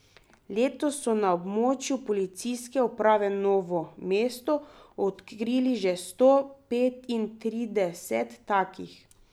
Letos so na območju Policijske uprave Novo mesto odkrili že sto petintrideset takih.